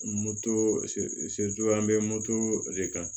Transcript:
an bɛ de kan